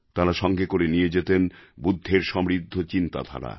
তাঁরা সঙ্গে করে নিয়ে যেতেন বুদ্ধের সমৃদ্ধ চিন্তাধারা